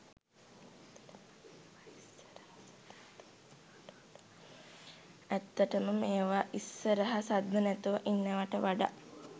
ඇත්තටම මේව ඉස්සරහ සද්ද නැතුව ඉන්නවට වඩා